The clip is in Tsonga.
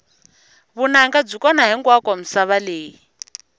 vunanga byi kona hinkwako misava leyi